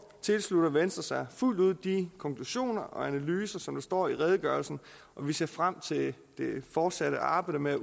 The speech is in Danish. tilslutter venstre sig fuldt ud de konklusioner og analyser som står i redegørelsen og vi ser frem til det fortsatte arbejde med